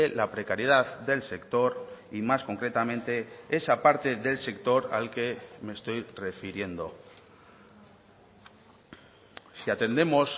la precariedad del sector y más concretamente esa parte del sector al que me estoy refiriendo si atendemos